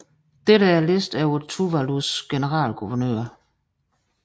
Dette er en liste over Tuvalus generalguvernører